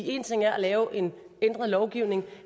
én ting er at lave en ændret lovgivning